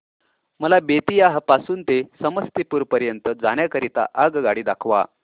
मला बेत्तीयाह पासून ते समस्तीपुर पर्यंत जाण्या करीता आगगाडी दाखवा